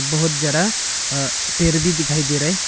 बहुत जरा अह पेड़ भी दिखाई दे रहा है।